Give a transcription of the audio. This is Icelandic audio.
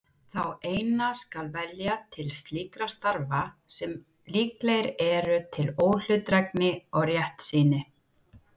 Þá eina skal velja til slíkra starfa sem líklegir eru til óhlutdrægni og réttsýni.